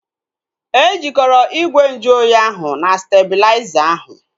E jikọrọ ígwè nju oyi ahu na stebulaiza ahu